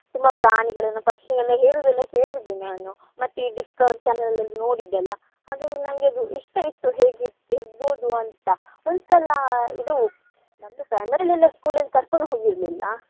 ತುಂಬಾ ಪ್ರಾಣಿಗಳನ್ನು ಪಕ್ಷಿಗಳನ್ನು ಹೇಳುದೆಲ್ಲಾ ಕೇಳಿದ್ದೆ ನಾನು . ಮತ್ತೆ ಈ Discovery channel ಅಲ್ಲಿ ನೋಡಿದ್ದೆ ಅಲ್ಲಾ ಹಾಗಾಗಿ ನಂಗೆ ಅದು ಇಷ್ಟ ಇತ್ತು ಹೇಗ್ ಇರ್~ ಇರ್ಬೊದು ಅಂತಾ. ಒಂದ್ ಸಲಾ ಇದು ನಮ್ದು primary ಅಲ್ಲಿ ಎಲ್ಲಾ school ಅಲ್ಲಿ ಕರ್ಕೊಂಡ್ ಹೋಗಿರ್ಲಿಲ್ಲಾ.